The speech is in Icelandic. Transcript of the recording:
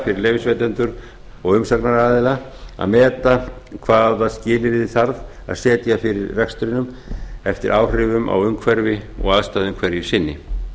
fyrir leyfisveitendur og umsagnar aðila að meta hvaða skilyrði þarf að setja fyrir rekstrinum eftir áhrifum á umhverfi og aðstæðum hverju sinni